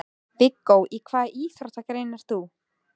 Viggó: Í hvaða íþróttagrein ert þú?